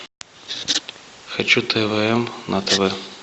хочу твм на тв